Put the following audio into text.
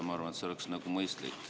Ma arvan, et see oleks mõistlik.